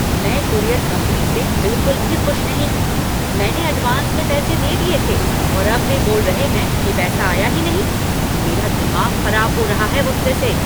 मैं courier company से बिल्कुल भी खुश नहीं हूँ। मैंने एडवांस में पैसे दे दिए थे और अब वे बोल रहे हैं कि पैसा आया ही नहीं। मेरा दिमाग खराब हो रहा है गुस्से से।